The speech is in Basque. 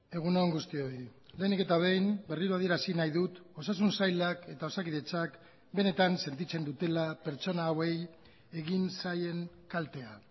egun on guztioi lehenik eta behin berriro adierazi nahi dut osasun sailak eta osakidetzak benetan sentitzen dutela pertsona hauei egin zaien kaltea